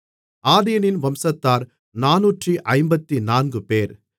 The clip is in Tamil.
ஆதீனின் வம்சத்தார் நானூற்று ஐம்பத்துநான்குபேர்